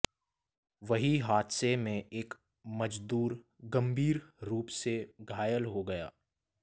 वहीं हादसे में एक मजदूर गंभीर रूप से घायल हो गया